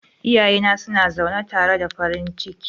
Iyayena suna zaune tare da farin ciki.